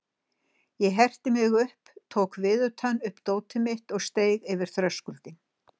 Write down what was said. Ég herti mig upp, tók viðutan upp dótið mitt og steig yfir þröskuldinn.